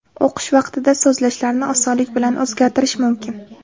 O‘qish vaqtida sozlashlarni osonlik bilan o‘zgartirish mumkin.